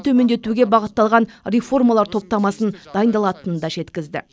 төмендетуге бағытталған реформалар топтамасы дайындалатынын да жеткізді